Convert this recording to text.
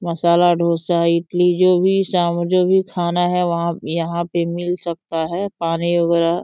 मसाला डोसा इडली जो भी साम जो भी खाना है वहाँ यहाँ पे मिल सकता है। पानी वगेरा --